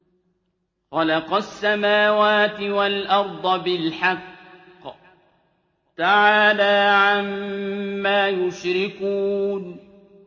خَلَقَ السَّمَاوَاتِ وَالْأَرْضَ بِالْحَقِّ ۚ تَعَالَىٰ عَمَّا يُشْرِكُونَ